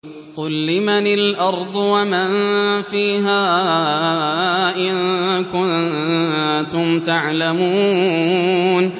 قُل لِّمَنِ الْأَرْضُ وَمَن فِيهَا إِن كُنتُمْ تَعْلَمُونَ